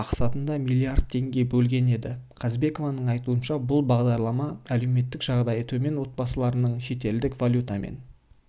мақсатында миллиард теңге бөлген еді қазыбекованың айтуынша бұл бағдарлама әлеуметтік жағдайы төмен отбасыларының шетелдік валютамен